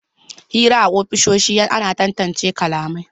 Hira a ofisoshi ana tantance kalamai